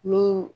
N'o